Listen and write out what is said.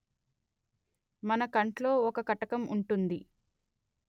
మన కంట్లో ఒక కటకం ఉంటుంది